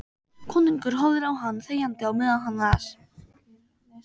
Konungur horfði á hann þegjandi á meðan hann las: